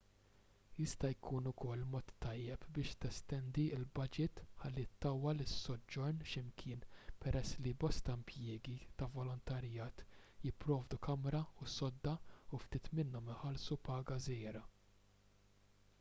jista' jkun ukoll mod tajjeb biex testendi l-baġit ħalli ttawwal is-soġġorn x'imkien peress li bosta impjiegi ta' volontarjat jipprovdu kamra u sodda u ftit minnhom iħallsu paga żgħira